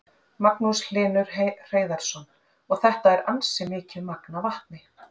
Magnús Hlynur Hreiðarsson: Og þetta er ansi mikið magn af vatni?